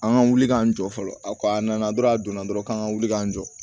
An ka wuli k'an jɔ fɔlɔ a ko a nana dɔrɔn a donna dɔrɔn k'an ka wuli k'an jɔ